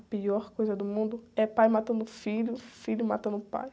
A pior coisa do mundo é pai matando filho, filho matando pai.